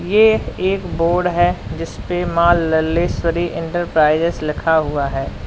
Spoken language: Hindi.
ए एक बोर्ड है जिसपे माँ लल्लेश्वरी इंटरप्राइजेज लिखा हुआ है।